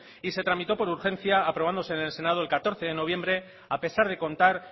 y se tramitó por urgencia aprobándose en el senado el catorce de noviembre a pesar de contar